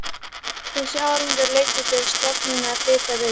Þessi árangur leiddi til stofnunar Hitaveitu